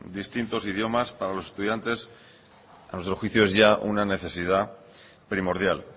de distintos idiomas para los estudiantes a nuestro juicio es ya una necesidad primordial